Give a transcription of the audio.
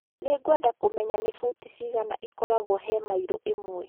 Nĩ ngwenda kũmenya nĩ futi cigana ikoragwo he maĩro ĩmwe